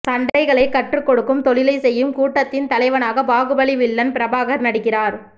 சண்டைகளை கற்று கொடுக்கும் தொழிலை செய்யும் கூட்டத்தின் தலைவனாக பாகுபலி வில்லன் பிரபாகர் நடிக்கிறார்